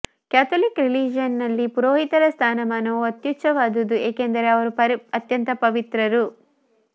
Catholic ರಿಲಿಜನ್ನಿನಲ್ಲಿ ಪುರೋಹಿತರ ಸ್ಥಾನಮಾನವು ಅತ್ಯುಚ್ಚವಾದುದು ಏಕೆಂದರೆ ಅವರು ಅತ್ಯಂತ ಪವಿತ್ರರು